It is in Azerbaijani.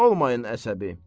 Olmayın əsəbi.